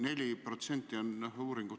Hea minister!